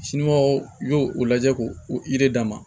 i y'o o lajɛ k'o d'a ma